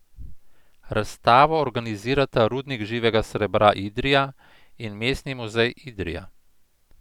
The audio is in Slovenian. Razstavo organizirata Rudnik živega srebra Idrija in Mestni muzej Idrija.